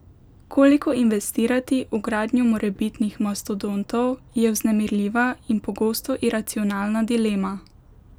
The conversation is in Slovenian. Koliko investirati v gradnjo morebitnih mastodontov, je vznemirljiva in pogosto iracionalna dilema.